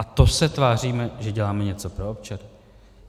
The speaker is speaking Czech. A to se tváříme, že děláme něco pro občany?